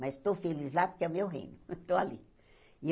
Mas estou feliz lá porque é meu reino, estou ali.